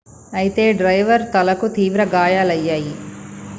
అయితే డ్రైవర్ తలకు తీవ్ర గాయాలయ్యాయి